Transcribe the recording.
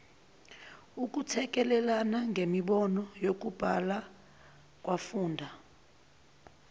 ukuthekelelana ngemibono yokubhalakwafunda